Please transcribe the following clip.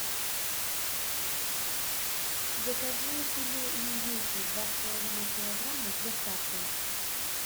закажи филе индейки два с половиной килограмма с доставкой